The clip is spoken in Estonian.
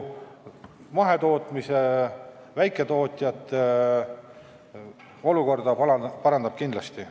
Mahetootjate ja väiketootjate olukorda parandab see kindlasti.